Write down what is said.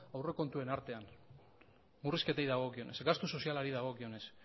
aurrekontuen artean murrizketei dagokionez gastu sozialari dagokionez